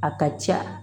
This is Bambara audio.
A ka ca